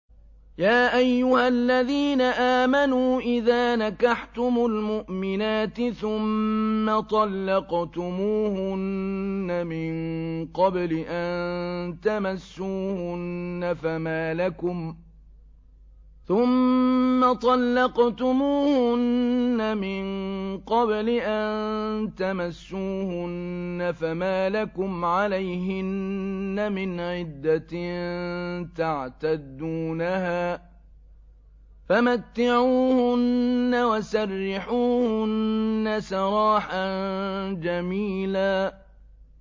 يَا أَيُّهَا الَّذِينَ آمَنُوا إِذَا نَكَحْتُمُ الْمُؤْمِنَاتِ ثُمَّ طَلَّقْتُمُوهُنَّ مِن قَبْلِ أَن تَمَسُّوهُنَّ فَمَا لَكُمْ عَلَيْهِنَّ مِنْ عِدَّةٍ تَعْتَدُّونَهَا ۖ فَمَتِّعُوهُنَّ وَسَرِّحُوهُنَّ سَرَاحًا جَمِيلًا